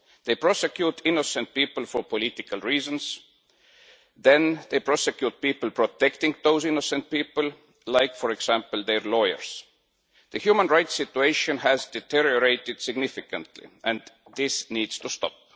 They prosecute innocent people for political reasons, then they prosecute people protecting those innocent people, such as, for example, their lawyers. The human rights situation has deteriorated significantly, and this needs to stop.